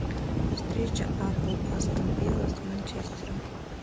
встреча апл астон вилла с манчестером